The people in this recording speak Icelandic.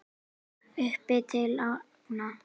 Upp til agna.